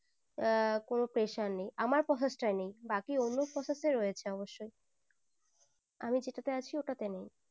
আহ কোনো pressure নেই আমার process টাই নেই বাকি অন্য process রয়েছে অবশ্যই আমি জেতাতে আছি ওটাতে নেই